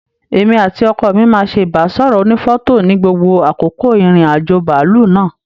Èmi àti ọkọ mi máa ṣé ibasọrọ ònífọ̀tò ní gbogbo àkókò ìrìn àjò bàálù náà.